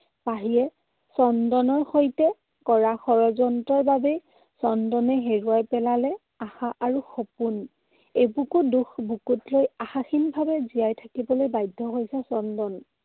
পাহিয়ে চন্দনৰ সৈতে কৰা ষড়যন্ত্ৰৰ বাবেই চন্দনে হেৰুৱাই পেলালে আশা আৰু সপোন। এবুকু দুখ বুকুত লৈ আশাহীনভাৱে জীয়াই থাকিবলৈ বাধ্য হৈছে চন্দন।